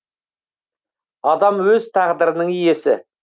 адам өз тағдырының иесі